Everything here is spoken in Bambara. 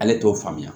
Ale t'o faamuya